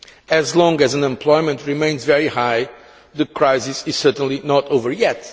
As long as unemployment remains very high, the crisis is certainly not over yet.